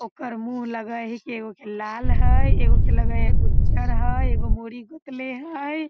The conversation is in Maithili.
ओकर मुँह लगय हेय की एगो के लाल हेय एगो के लगय हेय उज्जर हेय एगो मुड़ी गोतले हेय ।